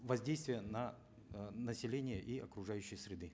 воздействия на э население и окружающей среды